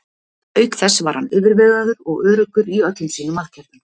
Auk þess var hann yfirvegaður og öruggur í öllum sínum aðgerðum.